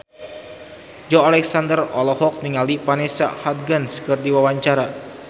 Joey Alexander olohok ningali Vanessa Hudgens keur diwawancara